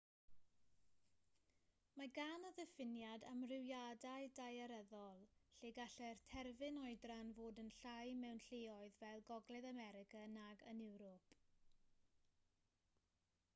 mae gan y diffiniad amrywiadau daearyddol lle gallai'r terfyn oedran fod yn llai mewn lleoedd fel gogledd america nag yn ewrop